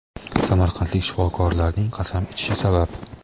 samarqandlik shifokorlarning qasam ichishi sabab .